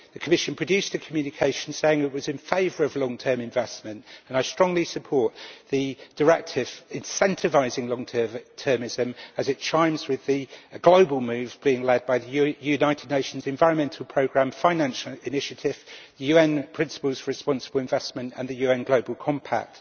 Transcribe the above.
The Commission produced a communication saying it was in favour of long term investment, and I strongly support the directive incentivising long-termism, as it chimes with the global move being led by the United Nations Environment Programme Finance Initiative, the UN Principles for Responsible Investment and the UN Global Compact.